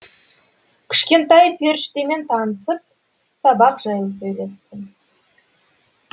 кішкентай періштемен танысып сабақ жайлы сөйлестім